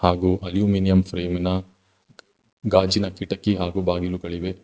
ಹಾಗು ಅಲುಮಿನಿಯಮ್ ಪ್ರೇಮಿನ ಗಾಜಿನ ಕಿಟಕಿ ಹಾಗು ಬಾಗಿಲುಗಳಿವೆ.